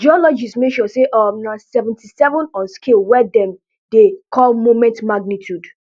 geologist measure say um na seventy-seven on scale wey dem dey call moment magnitude